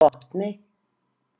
Botni